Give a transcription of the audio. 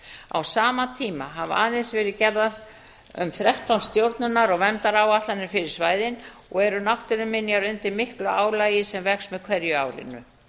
á sama tíma hafa aðeins verið gerðar um þrettán stjórnunar og verndaráætlanir fyrir svæðin og eru náttúruminjar undir miklu álagi sem vex með hverju árinu